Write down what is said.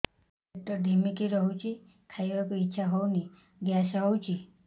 ପେଟ ଢିମିକି ରହୁଛି ଖାଇବାକୁ ଇଛା ହଉନି ଗ୍ୟାସ ହଉଚି